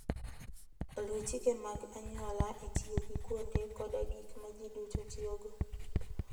Luw chike mag anyuola e tiyo gi kuonde koda gik ma ji duto tiyogo.